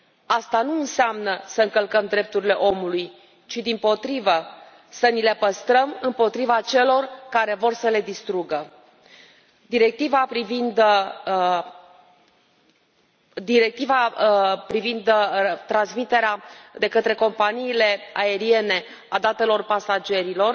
Asta nu înseamnă să încălcăm drepturile omului, ci, dimpotrivă, să ni le păstrăm împotriva celor care vor să le distrugă. Directiva privind transmiterea de către companiile aeriene a datelor pasagerilor